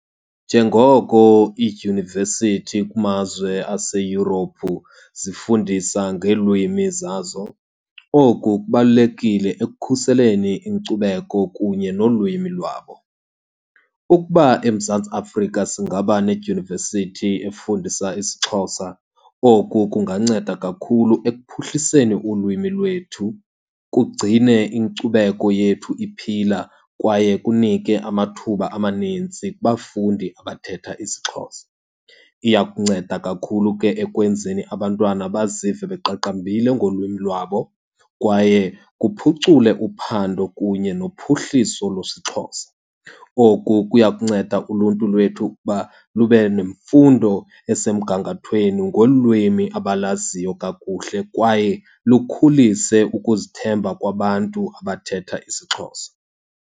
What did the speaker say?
Njengoko iidyunivesithi kumazwe aseYurophu zifundisa ngeelwimi zazo, oku kubalulekile ekukhuseleni inkcubeko kunye nolwimi lwabo. Ukuba eMzantsi Afrika singaba nedyunivesithi efundisa isiXhosa, oku kunganceda kakhulu ekuphuhliseni ulwimi lwethu, kugcine inkcubeko yethu iphila, kwaye kunike amathuba amanintsi kubafundi abathetha isiXhosa. Iya kunceda kakhulu ke ekwenzeni abantwana bazive beqaqambile ngolwimi lwabo kwaye kuphucule uphando kunye nophuhliso lwesiXhosa. Oku kuya kunceda uluntu lwethu ukuba lube nemfundo esemgangathweni ngolwimi abalaziyo kakuhle, kwaye lukhulise ukuzithemba kwabantu abathetha isiXhosa.